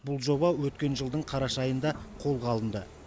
бұл жоба өткен жылдың қараша айында қолға алынды